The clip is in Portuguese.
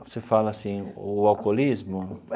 Você fala assim, o alcoolismo?